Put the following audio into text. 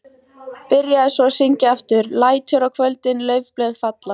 Byrjaði svo að syngja aftur: LÆTUR Á KVÖLDIN LAUFBLÖÐ FALLA.